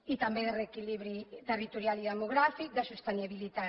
i també de reequilibri territorial i demogràfic de sostenibilitat